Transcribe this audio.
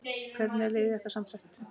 Hvernig er liðið ykkar samsett?